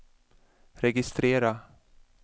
registrera